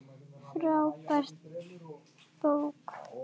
Frábær bók.